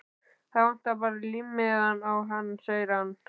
Það vantar bara límmiðann á hann sem segir